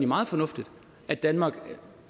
meget fornuftigt at danmark